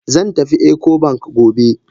Zan tafi Ecobank gobe.